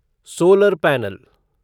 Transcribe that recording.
solar panel